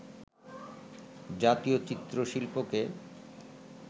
জাতীয় চিত্র-শিল্পকে